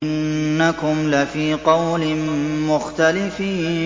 إِنَّكُمْ لَفِي قَوْلٍ مُّخْتَلِفٍ